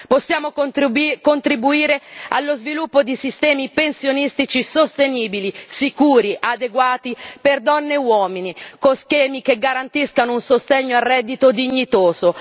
Possiamo contribuire allo sviluppo di sistemi pensionistici sostenibili, sicuri, adeguati per donne e uomini, con schemi che garantiscano un sostegno al reddito dignitoso.